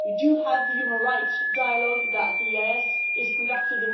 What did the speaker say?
We do have the human rights dialogue that the EEAS is conducting.